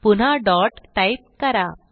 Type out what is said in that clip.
पुन्हा dot type करा